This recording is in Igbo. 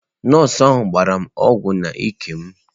Nọọsụ ahụ gbara m ọgwụ n'ike m.